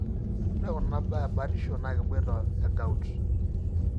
ore kuna baa ebatisho na keboita egout.